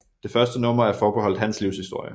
Det første nummer er forbeholdt hans livshistorie